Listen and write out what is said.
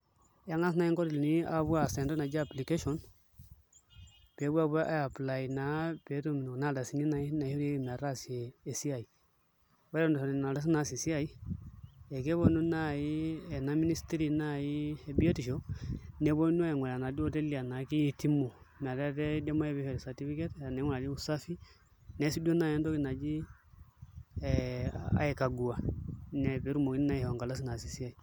Eng'as naai nkotelini aapuo aas entoki naji application pee epuo aapuo aiapply naa pee etum kuna ardasini naishorieki metaasia esiai, ore eton itu ishori nena ardasini naasie esiai ekeponu naai ena ministry naai e biotisho neponu aing'uraa enaduo oteli enaa kietimu metaa kiidim naai pee ishori certificate ning'urari usafi neesi duo naai entoki naji aikagua ine pee etumoki naa aishoo enkardasi naasie esiai.